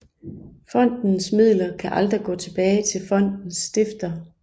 Fondens midler kan aldrig gå tilbage til fondens stifter